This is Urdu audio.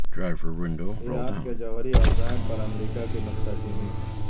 ایران کے جوہری عزائم پر امریکہ کی نکتہ چینی